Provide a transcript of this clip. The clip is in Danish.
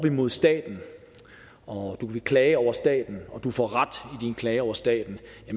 imod staten og du vil klage over staten og du får ret i din klage over staten